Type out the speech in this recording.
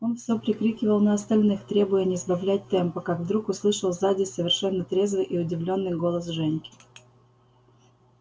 он всё прикрикивал на остальных требуя не сбавлять темпа как вдруг услышал сзади совершенно трезвый и удивлённый голос женьки